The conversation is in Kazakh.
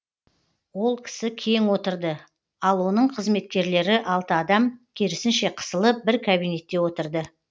ол кісі кең отырды ал оның қызметкерлері алты адам керісінше қысылып бір кабинетте отырды